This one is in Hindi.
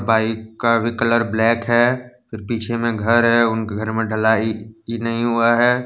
बाइक का भी कलर ब्लैक है फिर पीछे में घर है उनके घर में ढ़लाई की नहीं हुआ है।